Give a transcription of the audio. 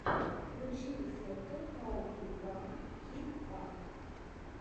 включи рецепты хау ту пранк кит ап